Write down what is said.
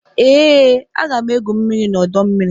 Ee, aga m égwu mmiri n'ọdọmmiri